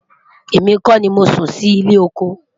èmi kò ní Mosún Si ile ọkọ